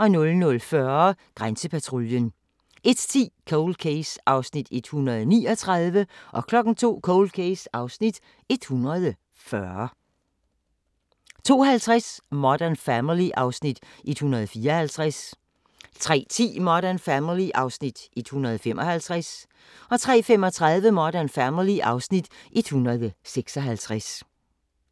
00:40: Grænsepatruljen 01:10: Cold Case (139:156) 02:00: Cold Case (140:156) 02:50: Modern Family (Afs. 154) 03:10: Modern Family (Afs. 155) 03:35: Modern Family (Afs. 156)